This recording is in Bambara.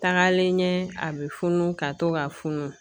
Tagalen ɲɛ a bɛ funu ka to ka funu